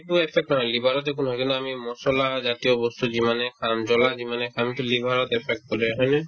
আমি এইটো accept কৰো liver ত যে একো নহয় কাৰণে আমি মছলা জাতীয় বস্তু যিমানে খাম, জ্বলা যিমানে খাম to liver ত affect কৰে হয়নে